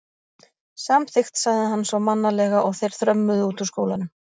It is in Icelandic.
Samþykkt sagði hann svo mannalega og þeir þrömmuðu út úr skólanum.